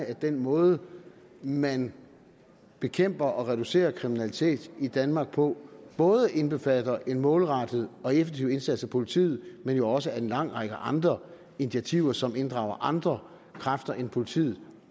at den måde man bekæmper og reducerer kriminalitet i danmark på både indbefatter en målrettet og effektiv indsats af politiet og jo også at en lang række andre initiativer som inddrager andre kræfter end politiet